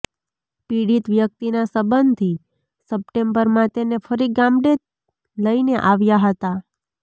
પીડિત વ્યક્તિના સંબંધી સપ્ટેમ્બરમાં તેને ફરી ગામડે લઈને આવ્યા હતા